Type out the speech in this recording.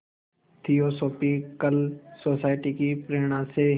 theosophical Society की प्रेरणा से